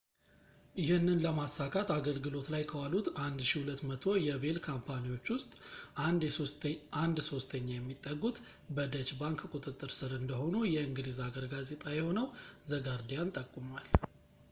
ይህንን ለማሳካት አገልግሎት ላይ ከዋሉት 1200 የሼል ካምፓኒዎች ውስጥ አንድ ሶስተኛ የሚጠጉት በdeutsche bank ቁጥጥር ስር እንደሆኑ የእንግሊዝ ሀገር ጋዜጣ የሆነው the guardian ጠቁሟል